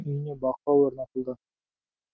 үйіне бақылау орнатылды